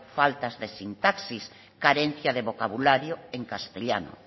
faltas de sintaxis carencia de vocabulario en castellano